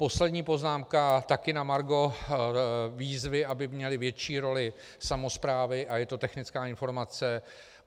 Poslední poznámka taky na margo výzvy, aby měly větší roli samosprávy, a je to technická informace.